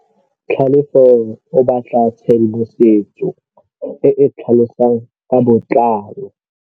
Tlhalefô o batla tshedimosetsô e e tlhalosang ka botlalô.